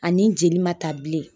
Ani jeli ma ta bilen